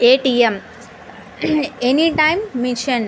A. T. M. Any time machine .